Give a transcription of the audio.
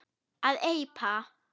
að eipa